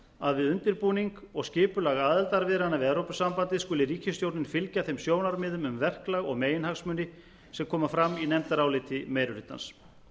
að við undirbúning og skipulag aðildarviðræðna við evrópusambandið skuli ríkisstjórnin fylgja þeim sjónarmiðum um verklag og meginhagsmuni sem koma fram í nefndaráliti meiri hlutans